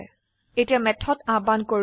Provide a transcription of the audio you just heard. এতিয়া মেথড আহ্বান কৰো